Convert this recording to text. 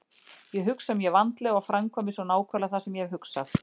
Ég hugsa mjög vandlega og framkvæmi svo nákvæmlega það sem ég hef hugsað.